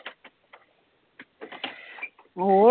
ਹੋਰ